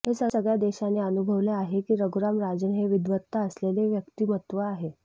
हे सगळ्या देशाने अनुभवले आहे की रघुराम राजन हे विद्वत्ता असलेले व्यक्तीमत्व आहे